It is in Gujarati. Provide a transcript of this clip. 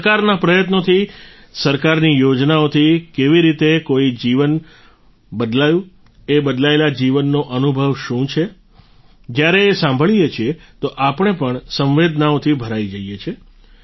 સરકારના પ્રયત્નોથી સરકારની યોજનાઓથી કેવી રીતે કોઈ જીવન બદલાયું એ બદલાયેલા જીવનનો અનુભવ શું છે જ્યારે એ સાંભળીએ છીએ તો આપણે પણ સંવેદનાઓથી ભરાઈ જઈએ છીએ